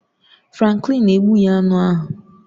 Franklin egbughị aṅụ ahụ